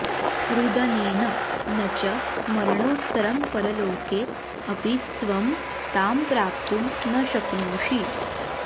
रुदनेन न च मरणोत्तरं परलोके अपि त्वं तां प्राप्तुं न शक्नोषि